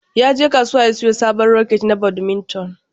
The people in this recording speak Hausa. Yaje kasuwa ya siyo sabon raket na badminton.